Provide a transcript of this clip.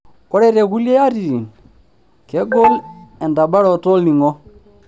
Ore te kulie atitin, kegol entabaroto olning'o.